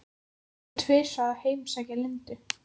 Hún fór tvisvar að heimsækja Lindu.